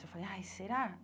Eu falei, ai, será?